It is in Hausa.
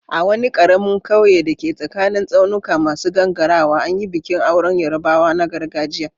A wani karamin kauye da ke tsakanin tsaunuka masu gangarawa, an yi bikin auren Yarbawa na gargajiya.